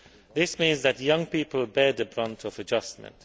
This means that young people bear the brunt of adjustment.